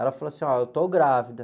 Ela falou assim, ó, eu estou grávida.